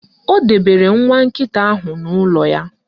O debere nwa nkịta ahụ n'ụlọ ya.